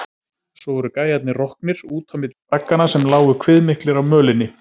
Svo voru gæjarnir roknir, út á milli bragganna sem lágu kviðmiklir á mölinni.